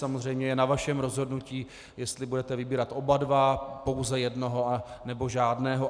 Samozřejmě je na vašem rozhodnutí, jestli budete vybírat oba dva, pouze jednoho, nebo žádného.